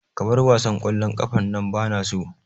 Ka bar wasan ƙwallon ƙafan nan bana so